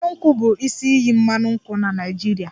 Mmanụ nkwụ bụ isi iyi mmanụ nkwụ na Naịjirịa